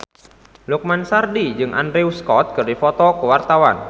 Lukman Sardi jeung Andrew Scott keur dipoto ku wartawan